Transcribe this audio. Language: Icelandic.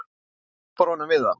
Hún hjálpar honum við það.